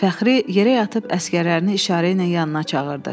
Fəxri yerə yatıb əsgərlərini işarə ilə yanına çağırdı.